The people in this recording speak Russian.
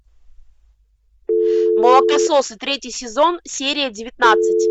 молокососы третий сезон серия девятнадцать